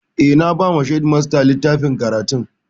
Eh, na ba wa shedimasta littafin karatun